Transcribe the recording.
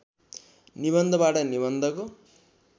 निबन्धबाट निबन्धको